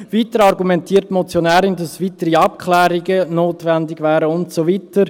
Weiter argumentiert die Motionärin, dass weitere Abklärungen notwendig wären und so weiter.